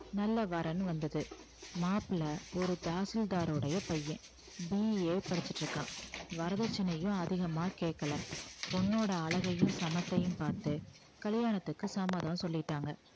நல்ல வரன் வந்தது மாப்பிளை ஒரு தாசில்தாருடைய பையன் BA படிச்சிட்டு இருக்கான் வரதட்சணையும் அதிகமா கேக்கல பொண்ணோட அழகையும் சமத்தையும் பார்த்து கல்யாணத்துக்கு சம்மதம் சொல்லிட்டாங்க